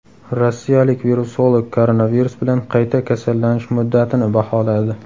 Rossiyalik virusolog koronavirus bilan qayta kasallanish muddatini baholadi.